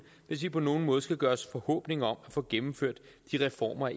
hvis vi på nogen måde skal gøre os forhåbninger om at få gennemført de reformer